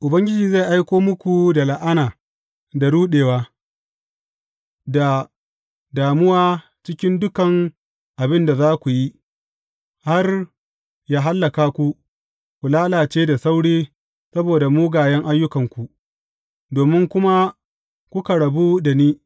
Ubangiji zai aiko muku da la’ana, da ruɗewa, da damuwa cikin dukan abin da za ku yi, har ya hallaka ku, ku lalace da sauri saboda mugayen ayyukanku, domin kuma kuka rabu da ni.